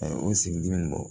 A ye o sigi dimi bɔ